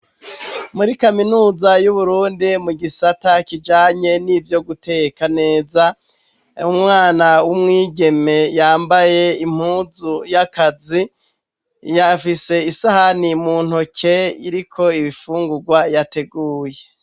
Muri kaminuza y'uburundi mu gisata kijanye n'ivyo guteka neza umwana w'umwigeme yambaye impuzu y'akazi yafise isahani mu ntoke iriko ibifungurwa yateguye.